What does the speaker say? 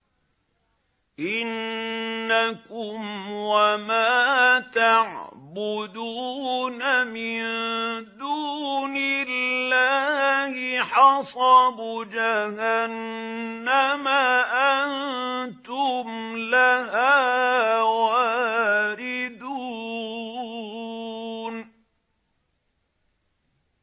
إِنَّكُمْ وَمَا تَعْبُدُونَ مِن دُونِ اللَّهِ حَصَبُ جَهَنَّمَ أَنتُمْ لَهَا وَارِدُونَ